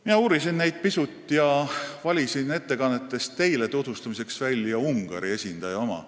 Ma uurisin neid pisut ja valisin ettekannetest teile tutvustamiseks välja Ungari esindaja oma.